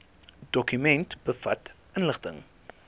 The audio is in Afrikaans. dokument bevat inligting